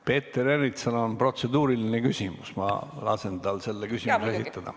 Peeter Ernitsal on protseduuriline küsimus, ma lasen tal selle esitada.